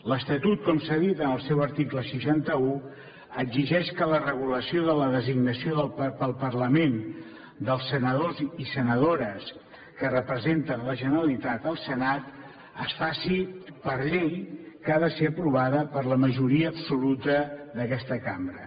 l’estatut com s’ha dit en el seu article seixanta un exigeix que la regulació de la designació pel parlament dels senadors i senadores que representen la generalitat al senat es faci per llei que ha de ser aprovada per la majoria absoluta d’aquesta cambra